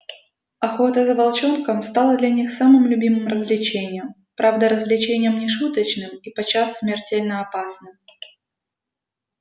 охота за волчонком стала для них самым любимым развлечением правда развлечением не шуточным и подчас смертельно опасным